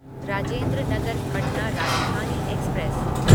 Rajendra Nagar Patna Rajdhani express